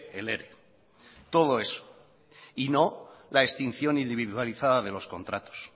el ere y no la extinción individualizada de los contratos